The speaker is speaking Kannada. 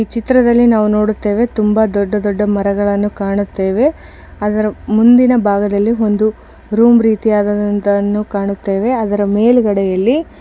ಈ ಚಿತ್ರದಲ್ಲಿ ನಾವು ನೋಡುತ್ತೇವೆ ತುಂಬಾ ದೊಡ್ಡ ದೊಡ್ಡ ಮರಗಳನ್ನ ಕಾಣುತ್ತೇವೆ ಮುಂದಿನ ಭಾಗದಲ್ಲಿ ಒಂದು ರೂಮ್ ರೀತಿಯದಂತವನ್ನು ಕಾಣುತ್ತೇವೆ ಅದರ ಮೇಲೆಗಡೆಯಲ್ಲಿ --